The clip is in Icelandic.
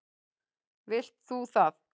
Vilt þú það?